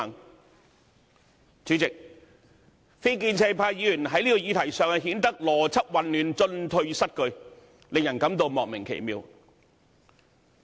代理主席，非建制派議員在這個議題上顯得邏輯混亂，進退失據，令人感到莫名其妙。